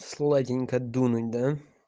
сладенько дунуть да